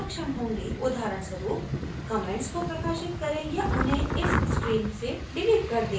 उदाहरण स्वरूप comments को प्रकाशित करें या उन्हें इस screen से डिलीट कर दें